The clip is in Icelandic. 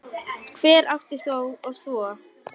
Hver átti þá að þvo?